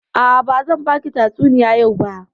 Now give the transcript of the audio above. A'a, bazan baki tatsuniya yau ba.